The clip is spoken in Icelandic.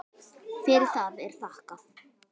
Fyrir það er þakkað.